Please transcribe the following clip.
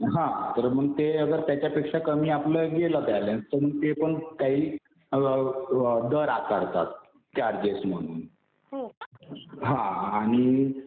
हा. तर मग ते अगर त्याच्या पेक्षा कमी गेला आपला बॅलन्स तर मग ते पण काही दर आकारतात. चार्जेस म्हणून. हा आणि